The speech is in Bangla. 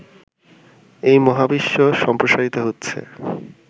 এই মহাবিশ্ব সম্প্রসারিত হচ্ছে